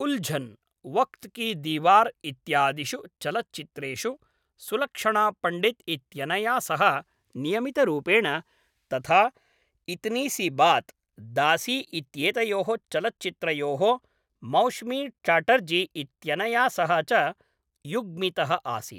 उल्झन्, वक्त् की दीवार् इत्यादिषु चलच्चित्रेषु सुलक्षणा पण्डित् इत्यनया सह नियमितरूपेण, तथा इतनी सी बात्, दासी इत्येतयोः चलच्चित्रयोः मौश्मी चाटर्जी इत्यनया सह च युग्मितः आसीत्।